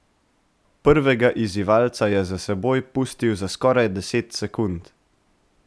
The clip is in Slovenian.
Prvega izzivalca je za seboj pustil za skoraj deset sekund.